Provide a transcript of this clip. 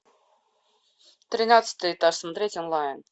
тринадцатый этаж смотреть онлайн